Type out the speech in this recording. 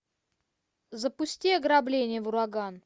запусти ограбление в ураган